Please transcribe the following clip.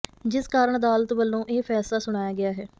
ਜਿਸ ਕਾਰਨ ਅਦਾਲਤ ਵੱਲੋਂ ਇਹ ਫੈਸਲਾ ਸੁਣਾਇਆ ਗਿਆ ਹੈ